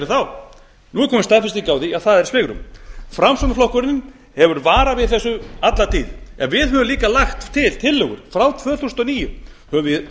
nú er komin staðfesting á því að það er svigrúm framsóknarflokkurinn hefur varað við þessu alla tíð en við höfum líka lagt til tillögur frá tvö þúsund og níu höfum við